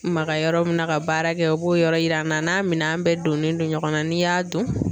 Maga yɔrɔ min na ka baara kɛ o b'o yɔrɔ yira an na n'a minɛn bɛɛ donnen don ɲɔgɔn na n'i y'a don